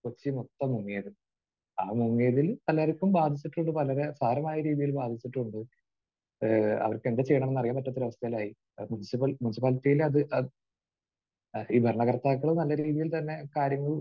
കൊച്ചി മൊത്തം മുങ്ങിയത്. ആ മുങ്ങിയതിൽ പലർക്കും ബാധിച്ചിട്ടുണ്ട്. പലരെ സാരമായ രീതിയിൽ ബാധിച്ചിട്ടുണ്ട്. ഏഹ് അവർക്ക് എന്ത് ചെയ്യണമെന്ന് അറിയാൻ പറ്റാത്ത ഒരു അവസ്ഥയിലായി. മുനിസിപ്പൽ...മുനിസിപ്പാലിറ്റിയിൽ അത് അഹ് ഈ ഭരണകർത്താക്കളും നല്ല രീതിയിൽ തന്നെ കാര്യങ്ങൾ